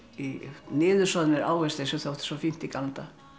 niðursoðnir ávextir sem þótti svo fínt í gamla daga